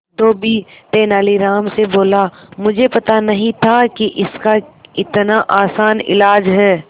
धोबी तेनालीराम से बोला मुझे पता नहीं था कि इसका इतना आसान इलाज है